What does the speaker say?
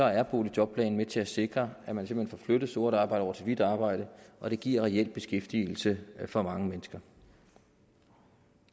er boligjobplanen med til at sikre at man simpelt hen får flyttet sort arbejde over til hvidt arbejde og det giver reelt beskæftigelse for mange mennesker